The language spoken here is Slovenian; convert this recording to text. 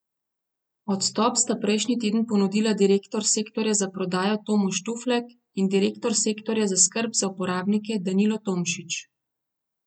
Odstop sta prejšnji teden ponudila direktor sektorja za prodajo Tomo Štuflek in direktor sektorja za skrb za uporabnike Danilo Tomšič.